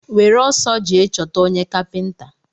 Were ọsọ jee chọta onye kapinta!